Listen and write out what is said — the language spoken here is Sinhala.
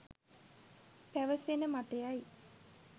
පැවසෙන මතයයි